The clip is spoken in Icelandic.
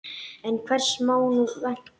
En hvers má nú vænta?